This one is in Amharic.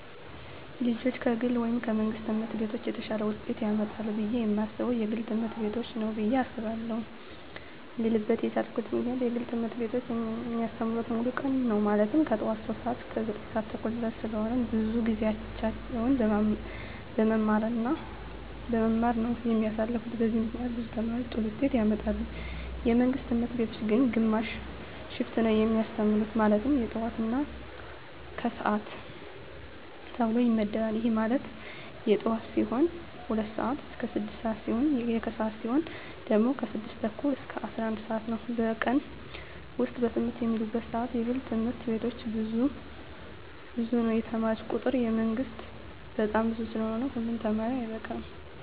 ልጆች ከግል ወይም ከመንግሥት ትምህርት ቤቶች የተሻለ ውጤት ያመጣሉ ብየ የማስበው የግል ትምህርት ቤቶችን ነው ብየ አስባለው ልልበት የቻልኩት ምክንያት የግል ትምህርት ቤቶች የሚያስተምሩት ሙሉ ቀን ነው ማለትም ከጠዋቱ 3:00 ሰዓት እስከ 9:30 ድረስ ስለሆነ ብዙውን ጊዜያቸውን በመማማር ነው የሚያሳልፉት በዚህም ምክንያት ብዙ ተማሪ ጥሩ ውጤት ያመጣል። የመንግስት ትምህርት ቤቶች ግን ግማሽ ሽፍት ነው የሚያስተምሩ ማለትም የጠዋት እና የከሰዓት ተብሎ ይመደባል ይህም ማለት የጠዋት ሲሆኑ 2:00 ስዓት እስከ 6:00 ሲሆን የከሰዓት ሲሆኑ ደግሞ 6:30 እስከ 11:00 ነው በቀን ውስጥ በትምህርት የሚውሉበት ሰዓት የግል ትምህርት ቤቶች ብዙ ነው የተማሪ ቁጥሩ የመንግስት በጣም ብዙ ስለሆነ ሁሉ ተማሪ አይበቃም።